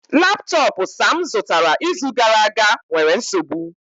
Laptọọpụ Sam zụtara izu gara aga nwere nsogbu